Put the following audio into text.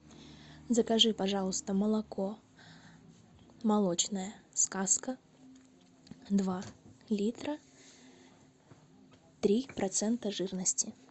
закажи пожалуйста молоко молочная сказка два литра три процента жирности